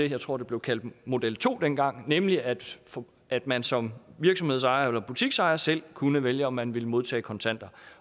jeg tror blev kaldt model to dengang nemlig at at man som virksomhedsejer eller butiksejer selv kunne vælge om man ville modtage kontanter